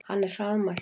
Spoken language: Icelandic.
Hann er hraðmæltur.